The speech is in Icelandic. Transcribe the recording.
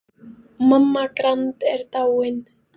Mamma Grand er dáin.